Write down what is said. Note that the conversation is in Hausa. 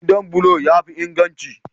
Gidan bulo ya fi inganci.